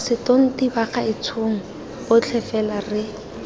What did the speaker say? setonti bagaetshong botlhe fela re